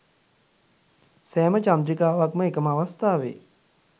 සෑම චන්ද්‍රිකාවක්ම එකම අවස්ථාවේ